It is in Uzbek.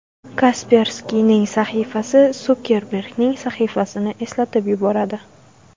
Kasperskiyning sahifasi Sukerbergning sahifasini eslatib yuboradi.